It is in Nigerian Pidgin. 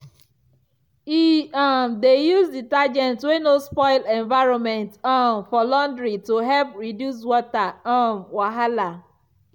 e um dey use detergent wey no spoil environment um for laundry to help reduce water um wahala.